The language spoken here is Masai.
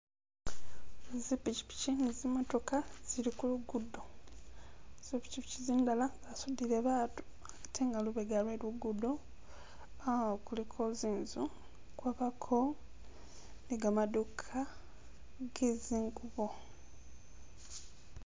Zi pichipichi ni zi motoka zili kulugudo, zipichipichi zindala zasudile batu atenga lubega lwe lugudo ah- kuliko zinzu kwabako ni gamaduka ge zingubo.